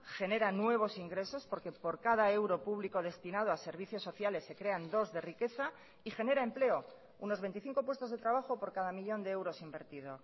genera nuevos ingresos porque por cada euro público destinado a servicios sociales se crean dos de riqueza y genera empleo unos veinticinco puestos de trabajo por cada millón de euros invertido